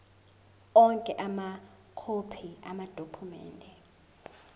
onke amakhophi amadokhumende